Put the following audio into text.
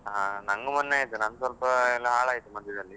ಹಾ, ನಂಗು ಮೊನ್ನೆ ಆಯ್ತು, ನಂದು ಸ್ವಲ್ಪ ಎಲ್ಲ ಹಾಳಾಯ್ತು ಮಧ್ಯದಲ್ಲಿ.